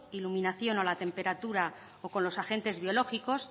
iluminación o la temperatura o con los agentes biológicos